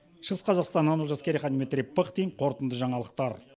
шығыс қазақстаннан олжас керейхан дмитрий пыхтин қорытынды жаңалықтар